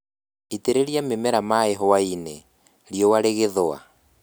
Itĩrĩria mĩmera maaĩ hwaĩ-inĩ, riũa rĩgĩthũa